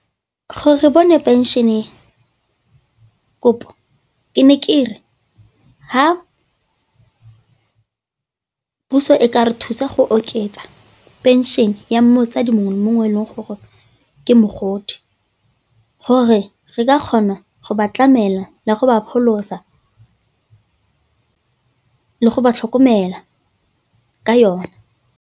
Gore re bone pension-e kopo ke ne ke re fa puso e ka re thusa go oketsa pension ya motsadi mongwe mongwe e leng gore ke mogodi, gore re ka kgona go ba tlamela la go ba pholosa le go ba tlhokomela ka yone.